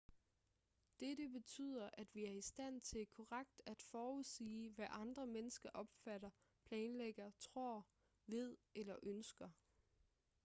dette betyder at vi er i stand til korrekt at forudsige hvad andre mennesker opfatter planlægger tror ved eller ønsker